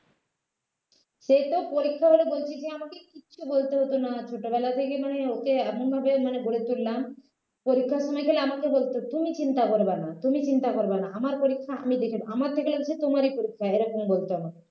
সে তো পরীক্ষা হলে বলছি যে আমাকে কিছু বলতে হত না ছোটবেলা থেকে মানে ওঁকে এমন ভাবে গড়ে তুললাম পরীক্ষার সময় খালি আমাকে বলত তুমি চিন্তা করবে না তুমি চিন্তা করবে না আমার পরীক্ষা আমি দেখে নেবো আমার থেকে যেন তোমারই পরীক্ষা এরকম বলতো আমাকে